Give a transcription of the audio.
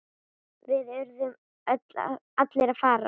Við urðum allir að fara.